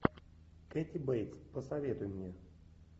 кэти бейтс посоветуй мне